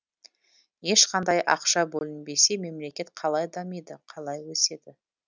ешқандай ақша бөлінбесе мемлекет қалай дамиды қалай өседі